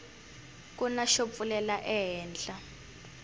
kuna xo pfulela ehenhla